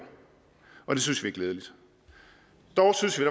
og det synes alternativet er glædeligt dog synes vi